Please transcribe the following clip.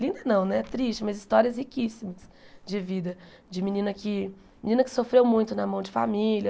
Linda não, triste, mas histórias riquíssimas de vida, de menina que menina que sofreu muito na mão de família,